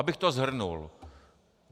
Abych to shrnul.